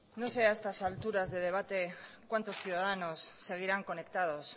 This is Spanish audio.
no sé a estas alturas de debate cuántos ciudadanos seguirán conectados